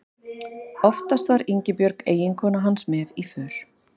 Oftast var Ingibjörg eiginkona hans með í för.